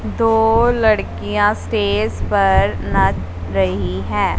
दो लड़कियां स्टेज पर नाच रही है।